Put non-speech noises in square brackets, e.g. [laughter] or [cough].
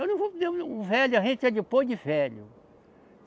Eu não vou vender um. [unintelligible] Velho da gente é depois de velho.